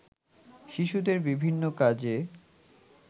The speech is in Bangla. শিশুদের বিভিন্ন কাজে